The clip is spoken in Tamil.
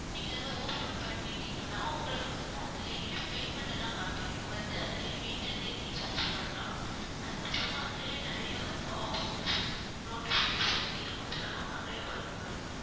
நீங்க அத open பண்ணிட்டீங்கன்னா உங்களுக்கு வந்து அதிலேயே payment எல்லாம் காட்டும் நீங்க வந்து அதிலேயே வீட்டிலே இருந்தே recharge பண்ணலாம் அதுக்கப்புறமா அதிலேயே நிறைய வந்து offers notification இது மாதிரி எல்லாம் நிறைய வரும் ma'am